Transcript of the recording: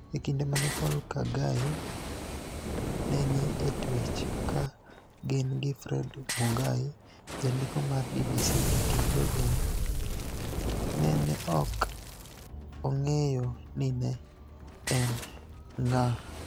E kinide ma ni e Poul Kagai ni e nii e twech ka gini gi Fred Munigai janidiko mar BBC ekinid jojela, ni e ni e ok onig'eyo nii ni e eni nig'a.